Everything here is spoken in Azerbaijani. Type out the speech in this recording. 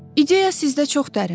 İdeya sizdə çox dərindir.